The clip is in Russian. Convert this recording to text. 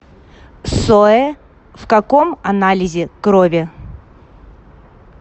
соэ в каком анализе крови